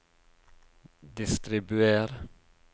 distribuer